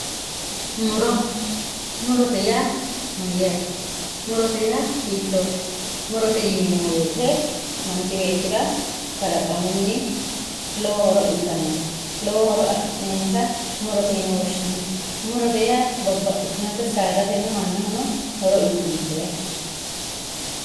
muro murote yaa mayaate murote yaa hitoote murote yineemo woyiite manch beettira kalaqamunni lowo horo uyiitannote lowo horo afi'neemota murote yine woshshinanni murote yaa babbaxitinota saadateno mannahono horo uyiitannote yaate.